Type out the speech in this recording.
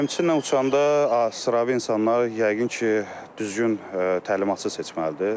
Təlimçi ilə uçanda adi sıravi insanlar yəqin ki, düzgün təlimatçı seçməlidir.